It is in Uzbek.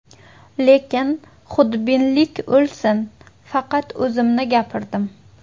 Lekin xudbinlik o‘lsin, faqat o‘zimni gapirdim.